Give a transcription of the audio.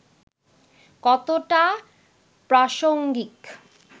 কতটা প্রাসঙ্গিক